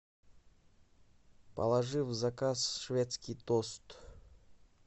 положи в заказ шведский тост